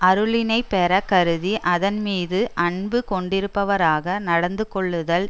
அருளினைப் பெற கருதி அதன்மீது அன்பு கொண்டிருப்பவராக நடந்து கொள்ளுதல்